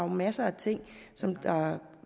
masser af ting som er